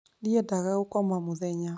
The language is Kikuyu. Ndiendaga gũkoma mũthenya